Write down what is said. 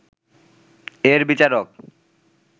এর বিচারক